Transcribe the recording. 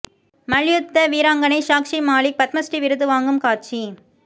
மல்யூத்த வீராங்கனை சாக்ஷி மாலிக் பத்ம ஸ்ரீ விருது வாங்கும் காட்சி